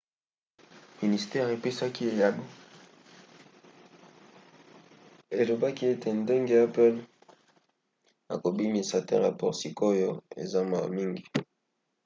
ministere epesaki eyano elobaki ete ndenge apple ekobimisa te rapport sikoyo eza mawa mingi.